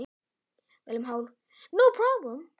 Heimir Már: Ekkert vandamál?